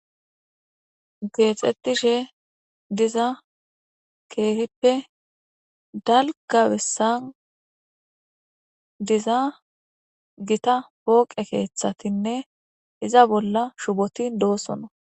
Geexxetishe diza keefippe dalgabessan diza gita pooqe keeththatinne iza bolla shuboti doosono.